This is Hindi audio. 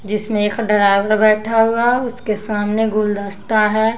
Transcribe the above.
जिसमें एक ड्राइवर बैठा हुआ उसके सामने गुलदस्ता है।